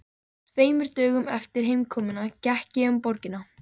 Tveimur dögum eftir heimkomuna gekk ég um borgina.